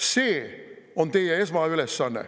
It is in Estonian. See on teie esmaülesanne.